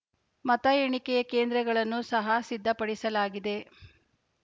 ಮತ ಎಣಿಕೆಯ ಕೇಂದ್ರಗಳನ್ನು ಸಹ ಸಿದ್ದಪಡಿಸಲಾಗಿದೆ